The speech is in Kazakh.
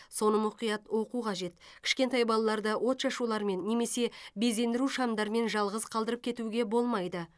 соны мұқият оқу қажет кішкентай балаларды отшашулармен немесе безендіру шамдарымен жалғыз қалдырып кетуге болмайды